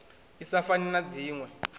i sa fani na dzinwe